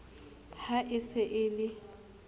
ha e se e le